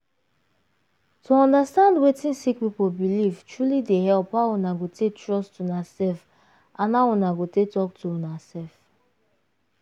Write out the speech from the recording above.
to understand wetin sick people belief truely dey help how una go take trust una self and how una go take talk to una self.